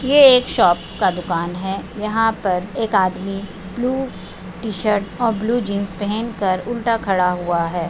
ये एक शॉप का दुकान है यहाँ पर एक आदमी ब्लू टी-शर्ट और ब्लू जीन्स पेहेनकर उलटा खड़ा हुआ है।